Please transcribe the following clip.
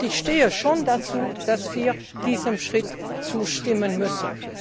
Ich stehe schon dazu, dass wir diesem Schritt zustimmen müssen.